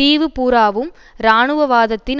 தீவு பூராவும் இராணுவவாதத்தின்